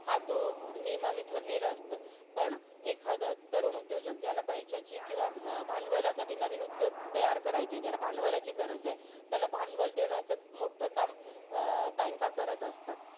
हा तो नियमाने ठरलेलं असतं, पण एखादा तरुण उद्योजक ज्याला पैशाची किंवा भांडवलासाठी नवीन उद्योग तयार करायचायं. ज्याला भांडवलाची गरज आहे, त्याला भांडवल देण्याच मोठ्ठं काम अं banks करत असतात.